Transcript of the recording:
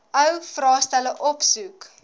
ou vraestelle opsoek